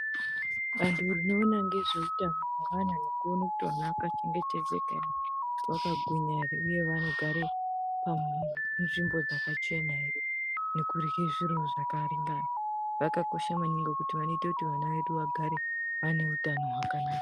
Vantu vanoona ngezveutano hwevana nekuone kuti vana vakachengetedzeka ere vakagwinya ere uye vanogare munzvimbo dzakachena ere nekurye zviro zvakaringana vakakosha maningi ngekuti vanoite kuti vana vedu vagare vane utano hwakanaka.